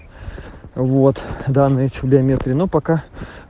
вот данные чтобы медленно пока